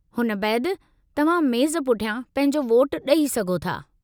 हुन बैदि, तव्हां मेज़ पुठियां पंहिंजो वोटु ॾेई सघो था।